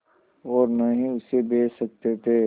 और न ही उसे बेच सकते थे